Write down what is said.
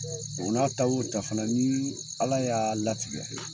O n'a ta wo ta fana ni ala y'a latigɛ